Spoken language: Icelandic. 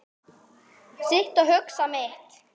Sit og hugsa mitt.